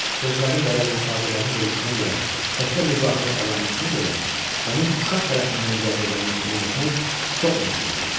Sözlərin və ya ifadələrin quruluşuna görə təkcə bu zahiri əlamətinə görə onun uşaq tərəfindən yazıldığını güman etmək çox müşkü il idi.